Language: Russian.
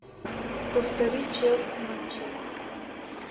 повтори челси манчестер